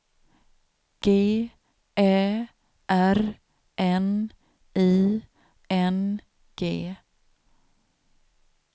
G Ä R N I N G